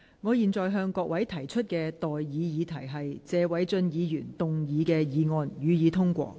我現在向各位提出的待議議題是：謝偉俊議員動議的議案，予以通過。